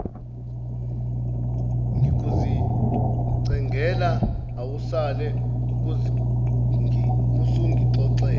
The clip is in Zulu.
ngikuzincengela awusale usungixolela